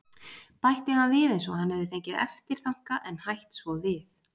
.- bætti hann við eins og hann hefði fengið eftirþanka en hætt svo við.